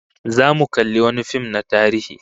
Zamu kalli wani fim na tarihi